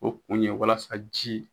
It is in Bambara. O kun ye walasa ji.